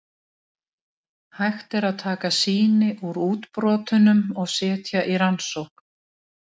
Hægt er að taka sýni úr útbrotunum og setja í rannsókn.